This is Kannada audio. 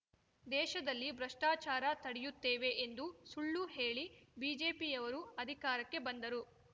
ದೇಶದಲ್ಲಿ ಭ್ರಷ್ಟಾಚಾರ ತಡೆಯುತ್ತೇವೆ ಎಂದು ಸುಳ್ಳು ಹೇಳಿ ಬಿಜೆಪಿಯವರು ಅಧಿಕಾರಕ್ಕೆ ಬಂದರು